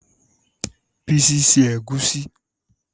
Bísí se Ẹ̀gúsí